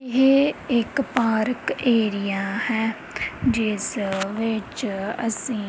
ਇਹ ਇੱਕ park area ਹੈ ਜਿੱਸ ਵਿੱਚ ਅੱਸੀਂ--